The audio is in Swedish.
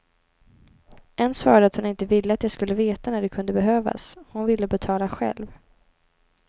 En svarade att hon inte ville att jag skulle veta när det kunde behövas, hon ville betala själv.